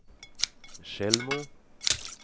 Tjällmo